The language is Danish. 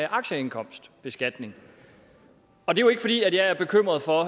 aktieindkomstbeskatning og det er jo ikke fordi jeg er bekymret for